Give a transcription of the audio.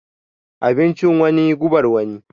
Abincin wani gubar wani.